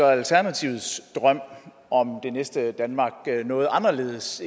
alternativets drøm om det næste danmark noget anderledes